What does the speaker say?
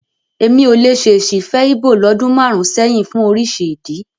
Èmi ò lè ṣèṣì fẹ́ Íbò lọ́dún márùn-ún sẹ́yìn fún oríṣi ìdí.